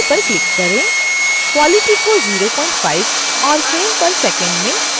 quality को 05 और frame per second में 24 सेट करें